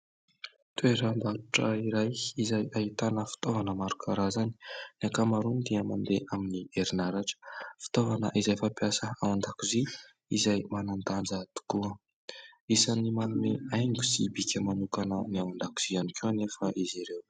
Toeram-barotra iray izay ahitana fitaovana maro karazany. Ny ankamaroany dia mandeha amin'ny herinaratra. Fitaovana izay fampiasa ao an-dakozia izay manan-danja tokoa. Isan'ny manome haingo sy bika manokana ny ao an-dakozia ihany koa anefa izy ireo.